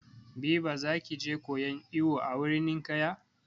Biba za ki je koyan iwo a wurin ninƙaya?